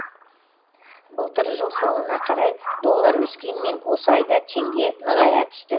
былтыр жыл соңына қарай доллар өскенмен осы айда теңге нығая түсті